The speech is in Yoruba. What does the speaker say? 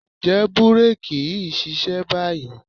Ǹjẹ́ búréèkì yìí ń ṣiṣẹ́ báyìí?